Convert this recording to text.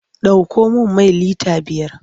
Ɗauko min mai lita biyar!